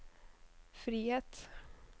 frihet